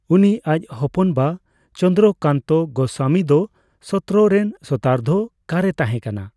ᱩᱱᱤ ᱟᱡ ᱦᱚᱯᱚᱱ ᱵᱟ ᱪᱚᱱᱫᱽᱨᱚ ᱠᱟᱱᱛᱚ ᱜᱚᱥᱥᱟᱢᱤ ᱫᱚ ᱥᱚᱛᱨᱚ ᱨᱮᱱ ᱥᱚᱛᱨᱟᱫᱷ᱾ᱠᱟᱨᱮ ᱛᱟᱦᱮᱸ ᱠᱟᱱᱟ।